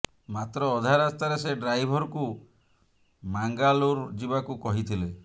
ମାତ୍ର ଅଧା ରାସ୍ତାରେ ସେ ଡ୍ରାଇଭରକୁ ମାଙ୍ଗାଲୁରୁ ଯିବାକୁ କହିଥିଲେ